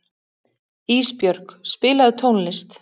Ísbjörg, spilaðu tónlist.